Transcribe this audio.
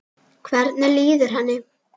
Hvernig líður henni?